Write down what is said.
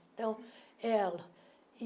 Então, ela.